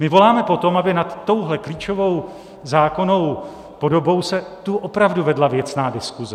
My voláme po tom, aby nad touhle klíčovou zákonnou podobou se tu opravdu vedla věcná diskuse.